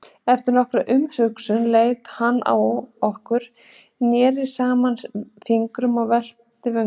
Eftir nokkra umhugsun leit hann á okkur, neri saman fingrunum og velti vöngum.